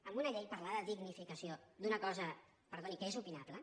amb una llei parlar de dignificació d’una cosa perdoni que és opinable